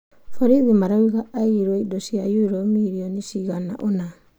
Borithi marauga aiyĩirwo indo cia euro mirioni ciigana ũna.